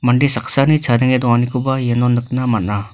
mande saksani chadenge donganikoba iano nikna man·a.